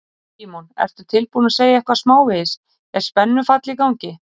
Símon: Ertu tilbúin að segja eitthvað smávegis, er spennufall í gangi?